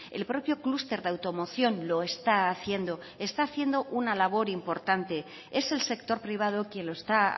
el propio clúster de automoción lo está haciendo está haciendo una labor importante es el sector privado quien lo está